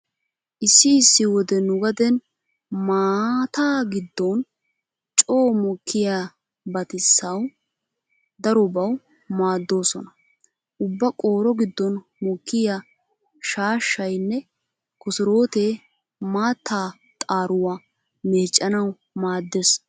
Issi issi wode nu gaden maata giddon coo mokkiyabatiasawu darobawu maaddoosona. Ubba qooro giddon mokkiya shaashshaynne kosorootee maatta xaaruwa meeccanawu maaddees.